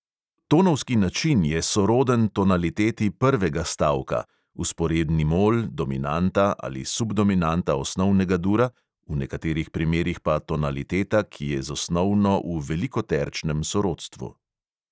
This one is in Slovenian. Tonovski način je soroden tonaliteti prvega stavka (vzporedni mol, dominanta ali subdominanta osnovnega dura, v nekaterih primerih pa tonaliteta, ki je z osnovno v velikoterčnem sorodstvu).